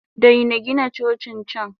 Daina Gina Cocin can!